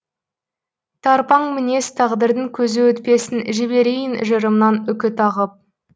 тарпаң мінез тағдырдың көзі өтпесін жіберейін жырымнан үкі тағып